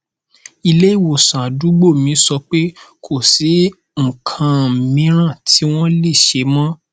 ileiwosan àdúgbò mi sọ pé kò sí nnkan miran ti wọn le ṣe mọ